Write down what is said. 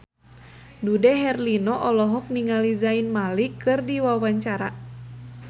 Dude Herlino olohok ningali Zayn Malik keur diwawancara